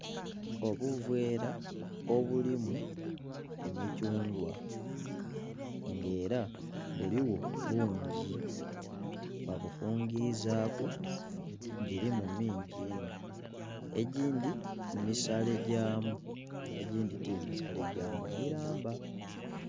Obuveera obulimu emithungwa nga era buligho bungi babufungizaaku, gilimu mingi inho. Egindhi misalegyamu egindhi ti misalegyamu, milamba.